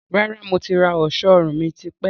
Rárá, mo ti rà ọ̀ṣọ́ ọrùn mi tipẹ́